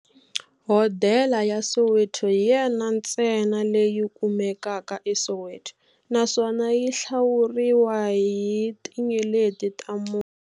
Hodela ya Soweto hi yona ntsena leyi kumekaka eSoweto, naswona yi hlawuriwa hi tinyeleti ta mune.